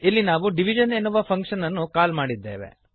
ಇಲ್ಲಿ ನಾವು ಡಿವಿಷನ್ ಎನ್ನುವ ಫಂಕ್ಶನ್ ಅನ್ನು ಕಾಲ್ ಮಾಡಿದ್ದೇವೆ